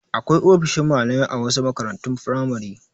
Akwai ofishin malamai a wasu makarantun firamare.